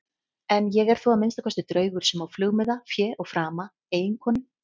En ég er þó að minnsta kosti draugur sem á flugmiða, fé og frama, eiginkonu.